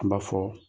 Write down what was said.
An b'a fɔ